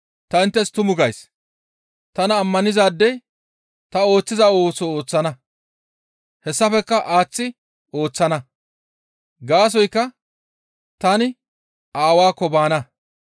Ta inttes tumu gays; tana ammanizaadey ta ooththiza ooso ooththana; hessafekka aaththi ooththana; gaasoykka tani Aawaakko baana.